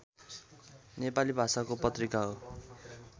नेपाली भाषाको पत्रिका हो